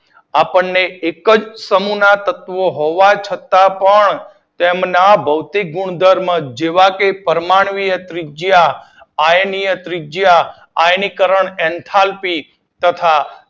આપણને એક જ સમૂહ ના તત્વો હોવા છતાં પણ તેમના ભૌતિક ગુણધર્મો જેવા કે પરમાણ્વીય ત્રિજ્યા, આયર્નીય ત્રિજ્યા, આયનીકરન એન્થાલ્પી તથા